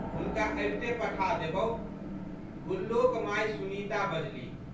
हुनका अबिते पठा देबौ। गुल्लोक माय सुनीता बजलीह।